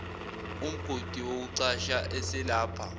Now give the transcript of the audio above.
umgodi wokucasha eselapha